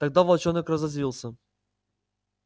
тогда волчонок разозлился